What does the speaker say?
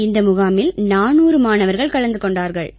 இந்த முகாமில் 400 மாணவர்கள் கலந்து கொண்டார்கள்